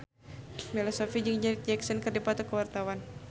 Bella Shofie jeung Janet Jackson keur dipoto ku wartawan